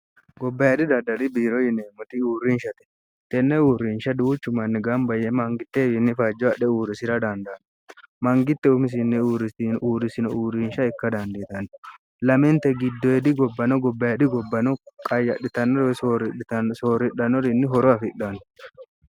gobbayidhi dandali biiro yineemmoti uurrinshate tenne uurrinsha duuchu manni gamba yee mangitteewiinni fajjo adhe uurrisira dandanno mangitte umisinni uriuurrisino uurrinsha ikka dandiitanni laminte giddoedi gobbano gobbayedhi gobbano qayyadhitannore sooridhanorinni horo afidhanno